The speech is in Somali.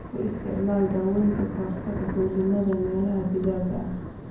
Ku isticmaal dawooyinka kahortaga dulinnada meelaha digaaga ah.